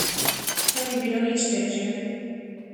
To ni bilo nič težje.